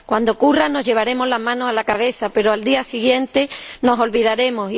Cuando ocurra, nos llevaremos las manos a la cabeza, pero, al día siguiente, nos olvidaremos.